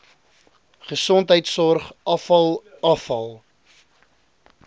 gesondheidsorg afval afval